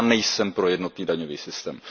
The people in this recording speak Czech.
Já nejsem pro jednotný daňový systém.